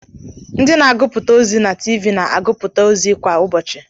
Ndị na-agụpụta ozi na TV na aguputa ozi kwa ụbọchị.